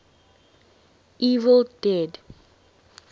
evil dead